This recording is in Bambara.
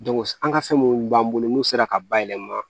an ka fɛn munnu b'an bolo n'u sera ka bayɛlɛma